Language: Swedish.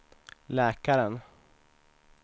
läkaren